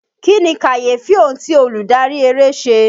Kí ni kàyéfì ohun ti olùdárí eré ṣe?